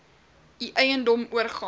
u eiendom oorgaan